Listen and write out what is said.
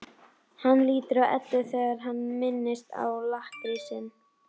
Hann lítur á Eddu þegar hann minnist á lakkrísinn.